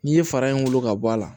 N'i ye fara in wolo ka bɔ a la